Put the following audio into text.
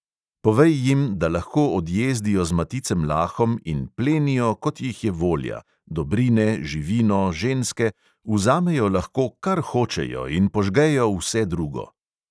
Povej jim, da lahko odjezdijo z maticem lahom in plenijo, kot jih je volja – dobrine, živino, ženske, vzamejo lahko, kar hočejo, in požgejo vse drugo.